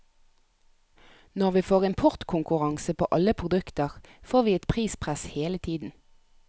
Når vi får importkonkurranse på alle produkter, får vi et prispress hele tida.